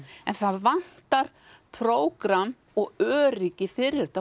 en það vantar prógramm og öryggi fyrir þetta